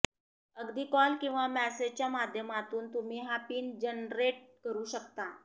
अगदी कॉल किंवा मेसेजच्या माध्यमातून तुम्ही हा पिन जनरेट करू शकता